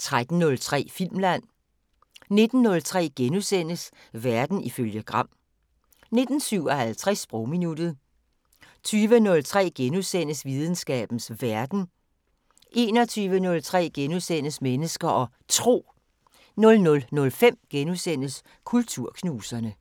13:03: Filmland 19:03: Verden ifølge Gram * 19:57: Sprogminuttet 20:03: Videnskabens Verden * 21:03: Mennesker og Tro * 00:05: Kulturknuserne *